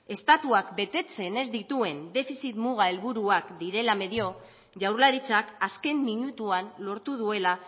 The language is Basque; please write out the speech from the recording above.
estatuak betetzen ez dituen defizit muga helburuak direla medio jaurlaritzak azken minutuan lortu duela